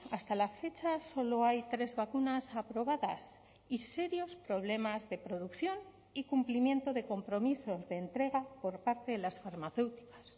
hasta la fecha solo hay tres vacunas aprobadas y serios problemas de producción y cumplimiento de compromisos de entrega por parte de las farmacéuticas